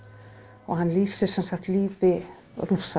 og hann lýsir sem sagt lífi Rússa